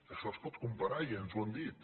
això es pot comparar i ens ho han dit